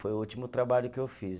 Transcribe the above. Foi o último trabalho que eu fiz.